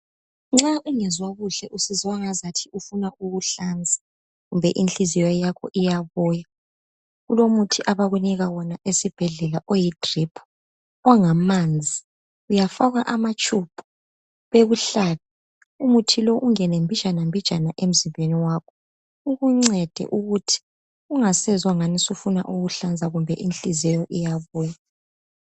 Nxa ungezwa kuhle usizwa ngani ufuna ukuhlanza kumbe inhliziyo yakho iyabuya, kulomuthi abakunika wona esibhedlela oyi drip ongamanzi, uyafakwa amatshubhu bekuhlabe umuthi lo ungene mbijana mbijana emzimbeni wakho kukuncede ukuthi ungasezwa angani sufuna ukuhlanza kumbe inhliziyo yakho isibuya.